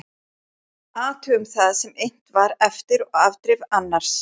Athugum það sem innt var eftir og afdrif annars